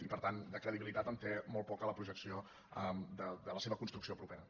i per tant de credibilitat en té molt poca la projecció de la seva construcció propera